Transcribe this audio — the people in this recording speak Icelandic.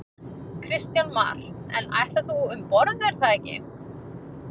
Kristján Már: En þú ætlar nú um borð er það ekki?